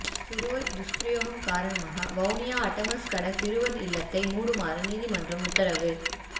சிறுவர் துஸ்பிரயோகம் காரணமாக வவுனியா அட்டமஸ்கட சிறுவர் இல்லத்தை மூடுமாறு நீதிமன்றம் உத்தரவு